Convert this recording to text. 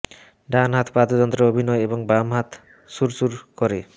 ডান হাত বাদ্যযন্ত্র অভিনয় এবং বাম হাত সুর সুর করে